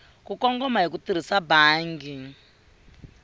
kongoma hi ku tirhisa bangi